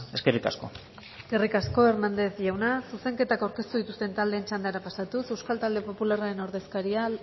eskerrik asko eskerrik asko hernandez jauna zuzenketako dituzten taldeen txandara pasatuz euskal talde popularren ordezkaria